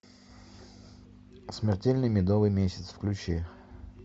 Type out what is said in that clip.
смертельный медовый месяц включи